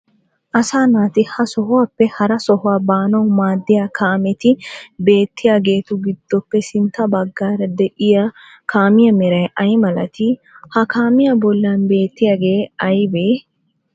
Asaa naati ha sohuwappe hara sohuwa baanawu maadiya kaameeti beettiyageetu giddoppe sintta baggaara deiya kaamiya meray ay malatii? Ha kaamiya bollan beetiyagee aybee?